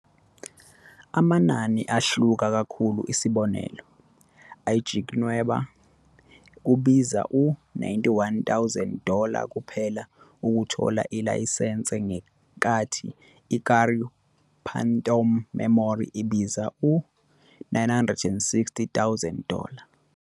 Amanani ahluka kakhulu, isibonelo, "iJinki- Nweba" kubiza u- 91,000 dollar kuphela ukuthola ilayisense ngenkathi "iKurau Phantom Memory" ibiza u- 960,000 dollar.